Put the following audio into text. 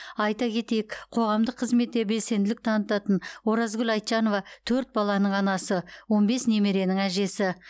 айта кетейік қоғамдық қызметте белсенділік танытатын оразкүл айтжанова төрт баланың анасы он бес немеренің әжесі